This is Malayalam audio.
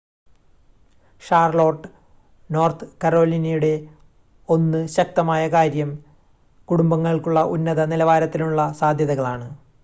ഷാർലോട്ട് നോർത്ത് കരോലിനയുടെ 1 ശക്തമായ കാര്യം കുടുംബങ്ങൾക്കുള്ള ഉന്നത-നിലവാരത്തിലുള്ള സാദ്ധ്യതകളാണ്